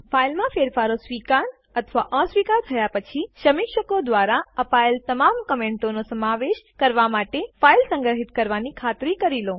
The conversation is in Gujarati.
ફાઈલમાં ફેરફારો સ્વીકાર અથવા અસ્વીકાર થયા પછી સમીક્ષકો દ્વારા અપાયેલ તમામ કમેન્ટો નો સમાવેશ કરવા માટે ફાઈલ સંગ્રહિત કરવાની ખાતરી કરી લો